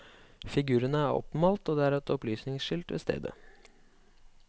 Figurene er oppmalt og det er et opplysningskilt ved stedet.